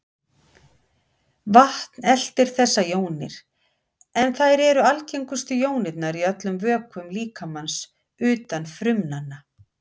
Vatn eltir þessar jónir, en þær eru algengustu jónirnar í öllum vökvum líkamans utan frumnanna.